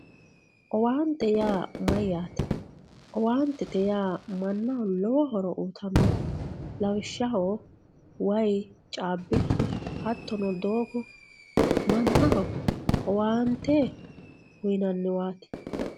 owaantete yaa mayyaate owaantete yaa mannaho jawa horo uyiitannote lawishshaho wayi caabbichu hattono doogo mannaho owaante uyiinanniwaati.